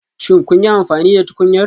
Shin kun yi amfani da tukunyar?